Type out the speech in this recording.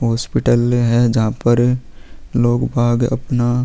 hospital है जहाँ पर लोग बाग अपना--